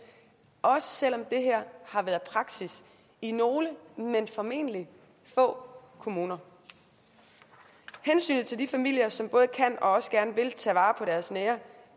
også selv om det her har været praksis i nogle men formentlig få kommuner hensynet til de familier som både kan og også gerne vil tage vare på deres nære